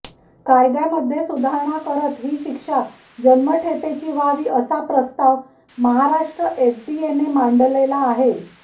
कायद्यामध्ये सुधारणा करत ही शिक्षा जन्मठेपेची व्हावी असा प्रस्ताव महाराष्ट्र एफडीएने मांडलेला आहे